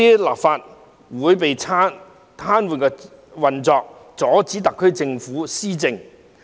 立法會運作被癱瘓，特區政府施政被阻礙。